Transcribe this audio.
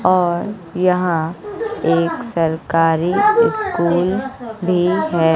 और यहां एक सरकारी स्कूल भी है।